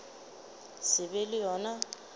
se be le yo a